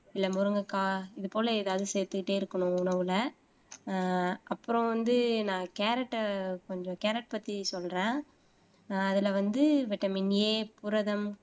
இல்லை முருங்கைக்காய் இது போல ஏதாவது சேர்த்துக்கிட்டே இருக்கணும் உணவுல ஆஹ் அப்புறம் வந்து நான் கேரட்டை கொஞ்சம் கேரட் பத்தி சொல்றேன் அதுல வந்து வைட்டமின் எ புரதம்